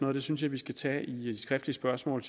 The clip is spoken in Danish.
og det synes jeg vi skal tage i de skriftlige spørgsmål